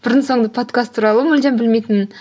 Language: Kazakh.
бұрын соңды подкаст туралы мүлдем білмейтінмін